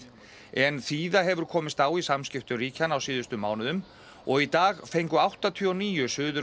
en þíða hefur komist á í samskiptum ríkjanna á síðustu mánuðum og í dag fengu áttatíu og níu Suður